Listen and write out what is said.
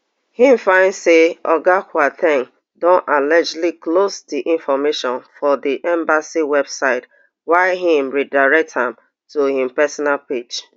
im find say oga kwar ten g don allegedly clone di information for di embassy website wia im redirect am to im personal page